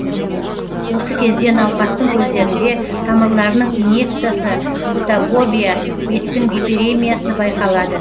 осы кезде науқастың көздерінде тамырларының иньекциясы фотобобия беттің гиперемиясы байқалады